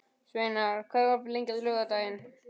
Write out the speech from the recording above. Sveinar, hvað er opið lengi á laugardaginn?